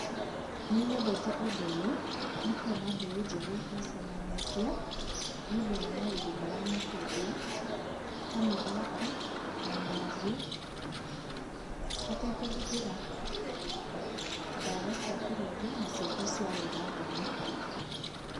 Nĩnyendete ũndũ ũyũ, nĩ kuona mbeũ njĩthĩ macemanĩtie nĩ ũndũ wa maũndũ maramateithia ta mĩthako na mĩario hatekũhũthĩra ndawa cia kũrebia na ciĩko cia ũrathoni.